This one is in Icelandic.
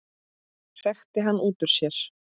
hrækti hann út úr sér.